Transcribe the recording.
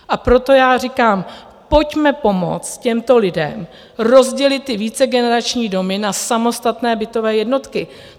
A proto já říkám, pojďme pomoci těmto lidem rozdělit ty vícegenerační domy na samostatné bytové jednotky.